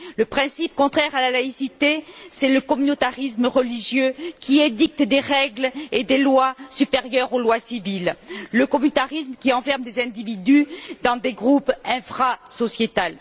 Le principe contraire à la laïcité, c'est le communautarisme religieux qui édicte des règles et des lois supérieures aux lois civiles, le communautarisme qui enferme des individus dans des groupes infra sociétaux.